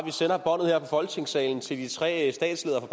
folketingssalen til de tre statsledere